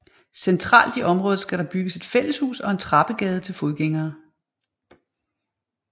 Centralt i området skal der bygges et fælleshus og en trappegade til fodgængere